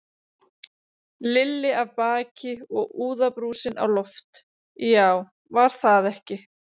Lilli af baki og úðabrúsinn á loft, já, var það ekki!